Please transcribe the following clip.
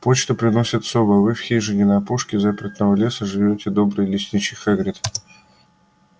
почту приносят совы а в их хижине на опушке запретного леса живёт добрый лесничий хагрид